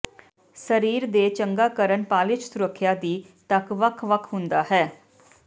ਸਰੀਰ ਦੇ ਚੰਗਾ ਕਰਨ ਪਾਲਿਸ਼ ਸੁਰੱਖਿਆ ਦੀ ਤੱਕ ਵੱਖ ਵੱਖ ਹੁੰਦਾ ਹੈ